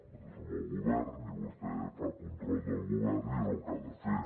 nosaltres som el govern i vostè fa control del govern i és el que ha de fer